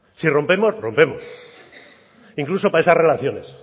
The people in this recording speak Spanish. si rompemos rompemos incluso para esas relaciones